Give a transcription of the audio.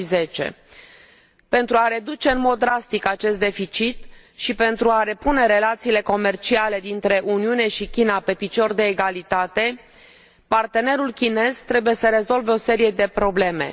2010. Pentru a reduce în mod drastic acest deficit și pentru a repune relațiile comerciale dintre Uniune și China pe picior de egalitate, partenerul chinez trebuie să rezolve o serie de probleme.